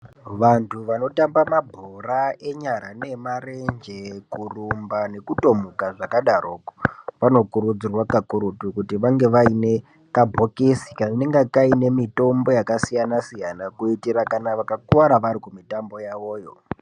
Vantu vanotamba mabhora enyara neemarenje, kurumba nekutomuka zvakadaroko vanokurudzirwa kakurutu kuti vange vane kabhokisi kanenge kaine mitombo yakasiyanasiyana kuitira kana vakakuwara vari kumitambo yavoyo.